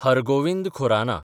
Har Gobind Khorana